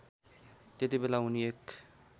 त्यतिबेला उनी एक